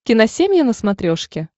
киносемья на смотрешке